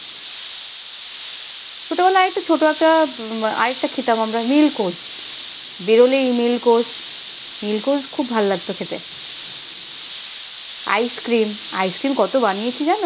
আর একটা ছোট একটা আর একটা খেতাম মিল্ককোশ বেরোলেই মিল্ককোশ মিল্ককোশ খুব ভাল লাগতো খেতে আইসক্রিম আইসক্রিম কত বানিয়েছি জানো?